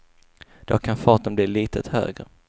Då kan farten bli litet högre.